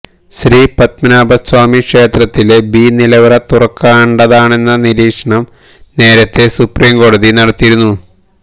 ശ്രീപത്മനാഭ സ്വാമി ക്ഷേത്രത്തിലെ ബി നിലവറ തുറക്കേണ്ടതാണെന്ന നിരീക്ഷണം നേരത്തെ സുപ്രീംകോടതി നടത്തിയിരുന്നു